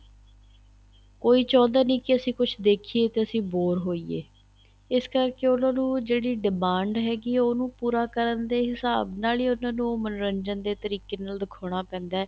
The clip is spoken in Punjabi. ਕੋਈ ਚਾਹੁੰਦਾ ਨਹੀਂ ਅਸੀਂ ਕੁੱਛ ਦੇਖੀਏ ਤੇ ਅਸੀਂ bore ਹੋਈਏ ਇਸ ਕਰਕੇ ਉਹਨਾ ਨੂੰ ਜਿਹੜੀ demand ਹੈਗੀ ਆ ਉਹਨੂੰ ਪੂਰਾ ਕਰਨ ਦੇ ਹਿਸਾਬ ਨਾਲ ਹੀ ਉਹਨਾ ਉਹ ਮੰਨੋਰੰਜਨ ਦੇ ਤਰੀਕ਼ੇ ਨਾਲ ਦਿਖਾਉਣਾ ਪੈਂਦਾ ਏ